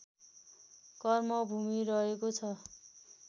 कर्मभूमि रहेको छ